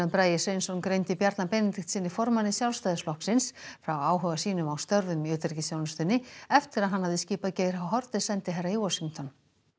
Bragi Sveinsson greindi Bjarna Benediktssyni formanni Sjálfstæðisflokksins frá áhuga sínum á störfum í utanríkisþjónustunni eftir að hann hafði skipað Geir h Haarde sendiherra í Washington